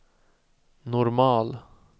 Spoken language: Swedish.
normal